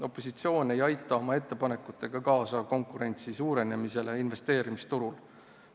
Opositsioon ei aita oma ettepanekutega kaasa konkurentsi suurenemisele investeerimisturul.